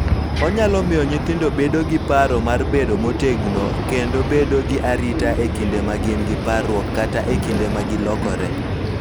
Onyalo miyo nyithindo bedo gi paro mar bedo motegno kendo bedo gi arita e kinde ma gin gi parruok kata e kinde ma gilokore.